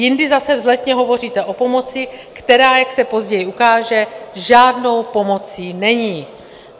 Jindy zase vzletně hovoříte o pomoci, která, jak se později ukáže, žádnou pomocí není.